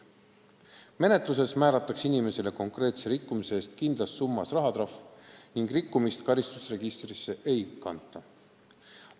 Menetluses määratakse inimesele konkreetse rikkumise eest kindlas summas rahatrahv ning rikkumist karistusregistrisse ei kanta.